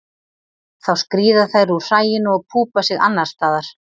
Þá skríða þær úr hræinu og púpa sig annars staðar.